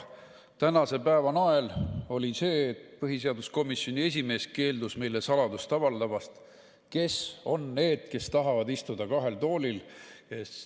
Tänase päeva nael oli see, et põhiseaduskomisjoni esimees keeldus meile avaldamast saladust, kes on need, kes tahavad istuda kahel toolil.